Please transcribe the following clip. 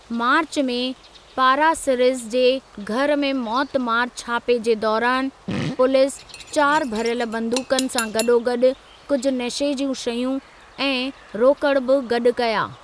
मार्च में पारासिरिस जे घरु में मौतमारु छापे जे दौरानि, पुलिस चारि भरियल बंदूकनि सां गॾोगॾु कुझु नशे जूं शयूं ऐं रोकिड़ बि गॾु कया।